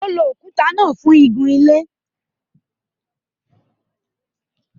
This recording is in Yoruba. Ó lo òkuta náà fún igunlé.